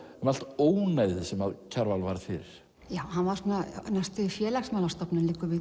allt ónæðið sem Kjarval varð fyrir já hann var næstum því félagsmálastofnun liggur við